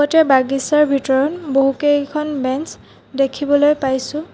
গোটেই বাগিছাৰ ভিতৰত বহুকেইখন বেঞ্চ দেখিবলৈ পাইছোঁ।